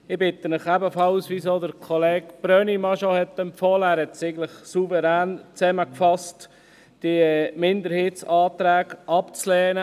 Ich bitte Sie ebenfalls, wie es bereits Kollege Brönnimann empfohlen hat – er hat es souverän zusammengefasst –, die Minderheitsanträge abzulehnen.